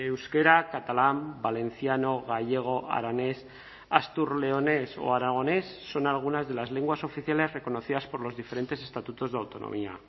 euskera catalán valenciano gallego aranés astur leonés o aragonés son algunas de las lenguas oficiales reconocidas por los diferentes estatutos de autonomía